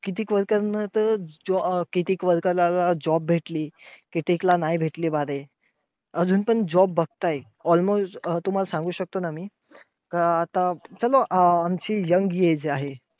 किती worker नं तर कितीक worker ला job भेटली कितीक ला नाही भेटली बारे. अजून पण job बघताय. almost अं तुम्हांला सांगू शकतो ना मी आता आमची young age आहे.